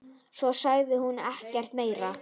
Svo sagði hún ekkert meira.